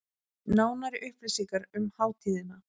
Nánari upplýsingar um hátíðina